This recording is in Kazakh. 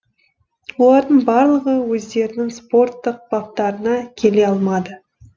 олардың барлығы өздерінің спорттық баптарына келе алмады